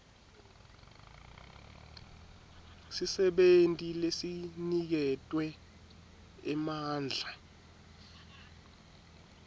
sisebenti lesiniketwe emandla